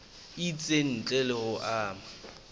itseng ntle le ho ama